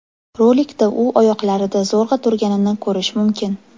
Rolikda u oyoqlarida zo‘rg‘a turganini ko‘rish mumkin.